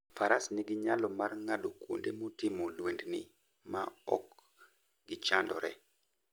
Faras nigi nyalo mar ng'ado kuonde motimo lwendni ma ok gichandore.